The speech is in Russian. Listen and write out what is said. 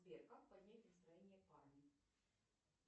сбер как поднять настроение парню